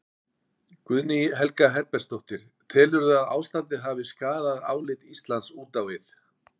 Guðný Helga Herbertsdóttir: Telurðu að ástandið hafi skaðað álit Íslands út á við?